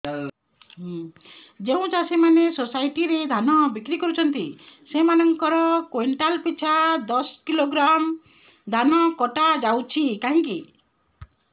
ଯେଉଁ ଚାଷୀ ମାନେ ସୋସାଇଟି ରେ ଧାନ ବିକ୍ରି କରୁଛନ୍ତି ସେମାନଙ୍କର କୁଇଣ୍ଟାଲ ପିଛା ଦଶ କିଲୋଗ୍ରାମ ଧାନ କଟା ଯାଉଛି କାହିଁକି